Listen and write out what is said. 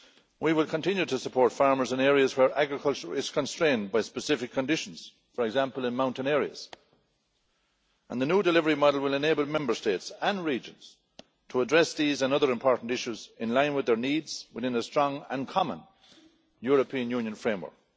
We will continue to support farmers in areas where agriculture is constrained by specific conditions, for example in mountain areas, and the new delivery model will enable Member States and regions to address these and other important issues in line with their needs within a strong and common European Union framework.